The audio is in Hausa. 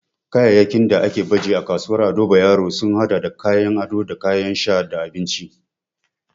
Kayayyakin da aka baje a kasuwar Ado Bayero sun hada da kayan ado da kayan sha da abinci.